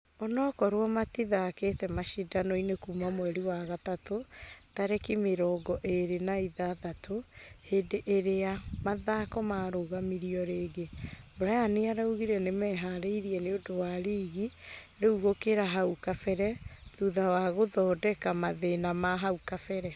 Onokorwo matithakĩte mashidano-inĩ kuma mweri wa gatatũ tarĩki mĩrongo ĩrĩ na ithathatũ hĩndĩ irĩa mathako marũgamirio rĩngĩ, brian araugire nĩmeharĩirie nĩũndũ wa rigi rĩu gũkĩra hau kabere thutha wa gũthodeka mathĩna ma hau kabere.